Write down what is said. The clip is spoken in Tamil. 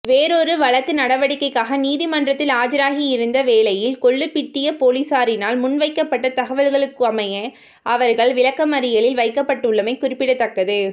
வேறொரு வழக்கு நடவடிக்கைக்காக நீதிமன்றத்தில் ஆஜராகியிருந்த வேளையில் கொள்ளுபிட்டிய பொலிஸாரினால் முன்வைக்கப்பட்ட தகவல்களுக்கமைய அவர்கள் விளக்கமறியலில் வைக்கப்பட்டுள்ளமை குறிப்பிடத்தக்கது